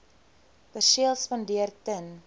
perseel spandeer ten